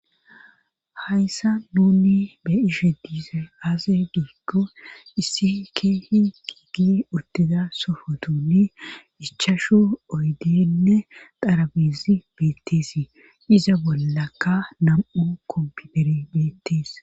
hayssa nuni be'ishe dizay aze giikko issi keehi giiggi uttida sofotuni ichashu oydenne xarabizi beettisii iza bollaka nam7u kompitere beettes